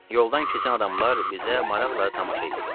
Yoldan keçən adamlar bizə maraqla tamaşa eləyirdilər.